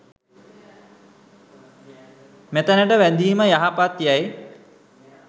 මෙතැනට වැඳීම යහපත් යැයි